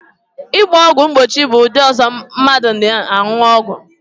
Ịgba ọgwụ mgbochi bụ ụdị ọzọ ndi mmadu na aṅụ ọgwụ